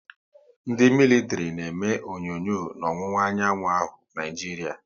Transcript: Ndị militiri na eme onyonyo n'owuwa anyanwụ Naịjiria.